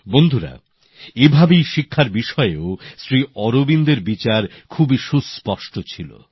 বন্ধুরা এভাবেই শিক্ষার বিষয়েও শ্রী অরবিন্দের বক্তব্য খুবই সুস্পষ্ট ছিল